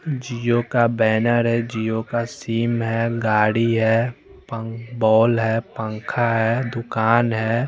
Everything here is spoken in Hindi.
जिओ का बैनर है जिओ का सिम है गाड़ी है पं बॉल है पंखा है दुकान है।